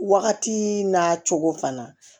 Wagati n'a cogo fana